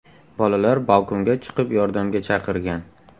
Bolalar balkonga chiqib yordamga chaqirgan.